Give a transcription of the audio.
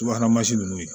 Subahana nunnu ye